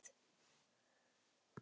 Það gæti þó alveg verið.